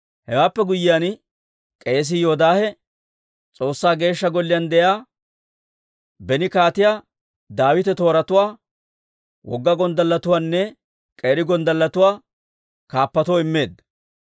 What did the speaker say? Hewaappe guyyiyaan, k'eesii Yoodaahe S'oossaa Geeshsha Golliyaan de'iyaa, beni Kaatiyaa Daawita tooratuwaa, wogga gonddalletuwaanne k'eeri gonddalletuwaa kaappatoo immeedda.